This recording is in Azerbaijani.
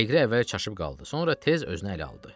Leqri əvvəl çaşıb qaldı, sonra tez özünə ələ aldı.